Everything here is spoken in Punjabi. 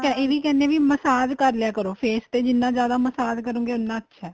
ਇਹ ਵੀ ਕਹਿਣੇ ਹਾਂ ਕੀ massage ਕਰ ਲਿਆ ਕਰੋ face ਤੇ ਜਿੰਨਾ ਜਿਆਦਾ massage ਕਰੋਗੇ ਉਹਨਾ ਅੱਛਾ ਏ